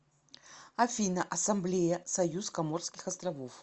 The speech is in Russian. афина ассамблея союз коморских островов